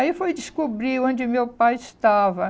Aí foi descobrir onde meu pai estava.